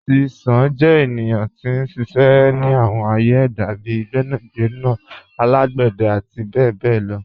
Àrtísán jẹ́ ènìyàn tí n ṣiṣẹ́ ni àwọn ạ̀yẹ̀ èdá bíì gbẹ̀nàgbẹ̀nà alágbẹ̀dẹ̀ àti bẹ̀bẹ̀ lọ.